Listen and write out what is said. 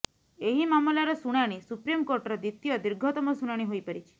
ଏହି ମାମଲାର ଶୁଣାଣି ସୁପ୍ରିମକୋର୍ଟର ଦ୍ୱିତୀୟ ଦୀର୍ଘତମ ଶୁଣାଣି ହୋଇପାରିଛି